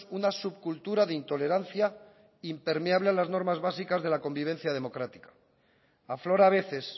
una subcultura de intolerancia impermeable a las normas básicas de la convivencia democrática aflora a veces